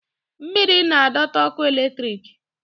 mmiri na- adota ọkụ eletrik